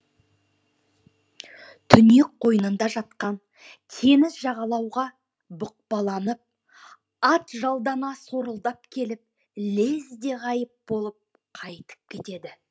түнек қойнында жатқан теңіз жағалауға бұқпаланып атжалдана сорылдап келіп лезде ғайып болып қайтып кетеді